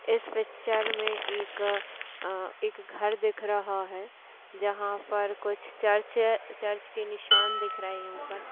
इस पिक्चर मे एक अ एक घर दिख रहा है जहां पर कुछ चर्च चर्च के निशान दिख रहे है ऊपर--